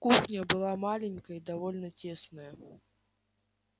кухня была маленькая и довольно тесная